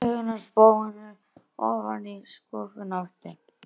Augun af spóanum ofan í skúffuna aftur.